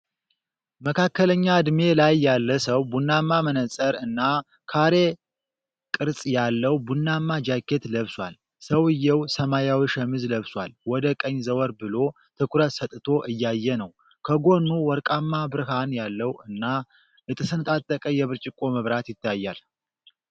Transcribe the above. መካከለኛ ዕድሜ ላይ ያለ ሰው ቡናማ መነፅር እና ካሬ ቅርጽ ያለው ቡናማ ጃኬት ለብሷል። ሰውየው ሰማያዊ ሸሚዝ ለብሷል፤ ወደ ቀኝ ዘወር ብሎ ትኩረት ሰጥቶ እያየ ነው። ከጎኑ ወርቃማ ብርሃን ያለው እና የተሰነጣጠቀ የብርጭቆ መብራት ይታያል።